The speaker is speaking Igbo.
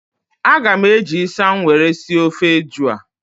A ga m eji ịsam were sie ofe eju a